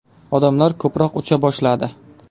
Odamlar ko‘proq ucha boshladi.